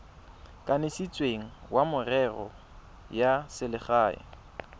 kanisitsweng wa merero ya selegae